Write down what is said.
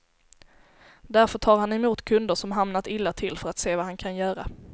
Därför tar han emot kunder som hamnat illa till för att se vad han kan göra.